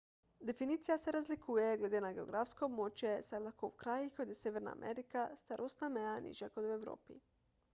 definicija se razlikuje glede na geografsko območje saj je lahko v krajih kot je severna amerika starostna meja nižja kot v evropi